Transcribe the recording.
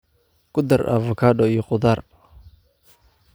Ku dar avokado iyo khudaar.